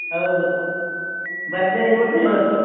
ಹೌದು, ಭರ್ಜರಿ ಊಟ ಇವತ್ತು.